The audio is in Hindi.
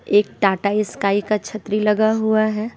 एक टाटा स्काई का छत्री लगा हुआ है।